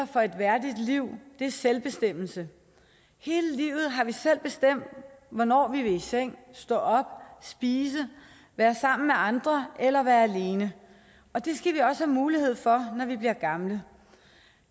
for et værdigt liv er selvbestemmelse hele livet har vi selv bestemt hvornår vi ville i seng stå op spise være sammen med andre eller være alene og det skal vi også have mulighed for når vi bliver gamle